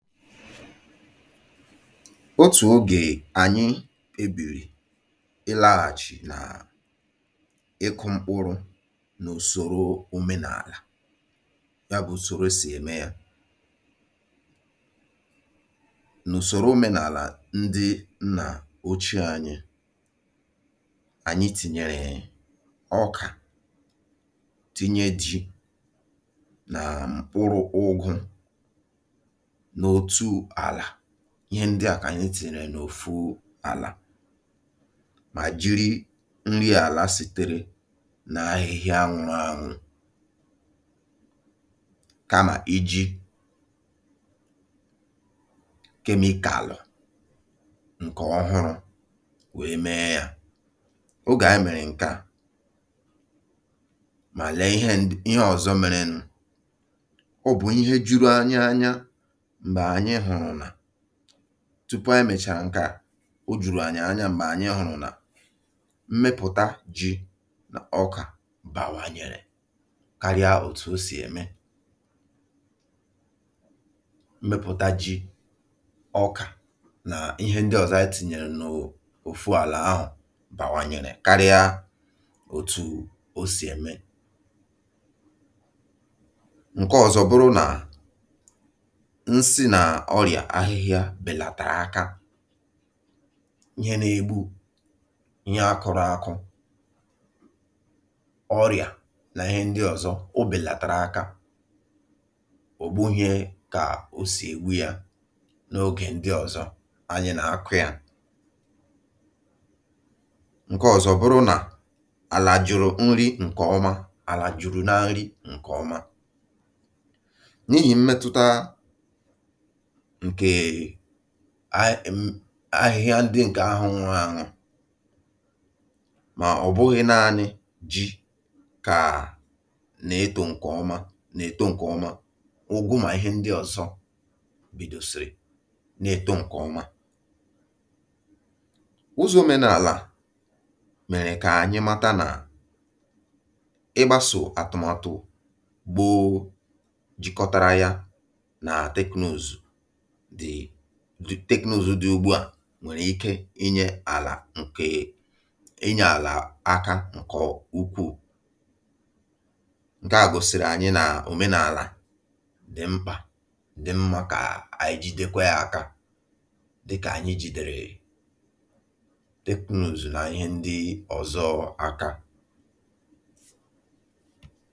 Otù ogè ànyị kpebìrì ịlȧghàchì nà ịkụ̇ mkpụrụ̇ n’ùsòro òmenàlà, ya bụ̀ ùsòro sì ème yȧ. N’ùsòro òmenàlà ndị nnà ochie ànyị, ànyị tìnyèrè ọkà, tinye ji nà mkpụrụ̇ ụgụ̇ n'otu ala, ihe ndị à kà ànyị tìnyere n’òfu àlà mà jiri nri àlà sìtèrè n’ahịhịa nwụrụanwụ kamà iji kemikalụ ǹkè ọhụrụ̇ wee mee yȧ. Ogè anyị mèrè nke à, mà lèe ihe ọ̀zọ mèrèn, ọ bụ̀ ihe juru anyị anya mgbe anyị hụrụ na tupu anyị mèchàrà ǹkà, o jùrù ànyị anya m̀gbè ànyị hụ̀rụ̀ nà mmepụ̀ta ji na ọkà bàwanyèrè karịa òtù o sì ème. Mmepụ̀ta ji, ọkà nà ihe ndị ọ̀zọ anyị tinyèrè n’òfu àlà ahụ̀ bàwanyèrè karịa òtù o sì ème. Nke ọ̀zọbụrụ nà nsi na ọrịà ahịhịa bèlàtàrà akȧ, ihe na-egbu ihe a kụ̇rụ̇ ȧkụ̇, ọrịà na ihe ndị ọ̀zọ o bèlàtàra akȧ, ògbuhie kà o sì ègbu ya n’ogè ndị ọ̀zọ anyị na-akụ yȧ. Nke ọ̀zọ bụrụ nà àlà jụrụ nri ǹkè ọma, àlà jùrù na nri ǹkè ọma n’ihì mmetụta ǹkèe ahị ahịhịa ndị ǹkè ahụ̇ nwụrụ anwụ, mà ọ̀ bụghị naȧnị̇ ji kà na-etȯ ǹkè ọma na-èto ǹkè ọma, ụgụ mà ihe ndị ọ̀zọ bidòsìrì na-èto ǹkè ọma. Ụzọ̇ omenàlà mèrè kà ànyị mata nà ịgbàsò àtụmatụ bụ jikọtara ya nà teknụzụ d teknụzụ̇ dị ugbu à nwèrè ike inyė àlà ǹkè inyė àlà aka ǹkè ukwuù. Nke à gosiri ̀ànyị n’òmenàlà dị̀ mkpà, dị̀ mmȧ kà ànyị jìdekwa yakȧ dịkà ànyị jìdèrè teknụzụ̀ nà ihe ndị ọ̀zọ aka.